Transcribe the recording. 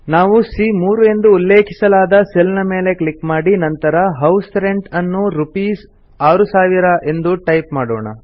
ನಾವು ಸಿಎ3 ಎಂದು ಉಲ್ಲೇಖಿಸಲಾದ ಸೆಲ್ ನ ಮೇಲೆ ಕ್ಲಿಕ್ ಮಾಡಿ ನಂತರ ಹೌಸ್ ರೆಂಟ್ ಅನ್ನು ರೂಪೀಸ್ 6000 ಎಂದು ಟೈಪ್ ಮಾಡೋಣ